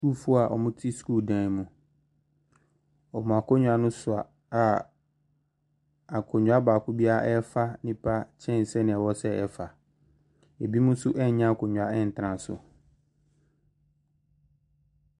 Asukuufoɔ a wɔte sukuudan mu. Wɔn akonnwa no so a akonnwa baako biara refa nnipa kyɛn sɛnea ɛsɛ ɛfa. Ebinom nso nnya akonnwa ntena so.